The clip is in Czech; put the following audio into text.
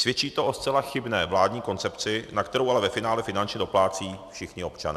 Svědčí to o zcela chybné vládní koncepci, na kterou ale ve finále finančně doplácejí všichni občané.